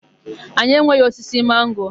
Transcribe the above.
Anyị enweghị osisi mango.